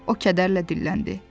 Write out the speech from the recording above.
O kədərlə dilləndi.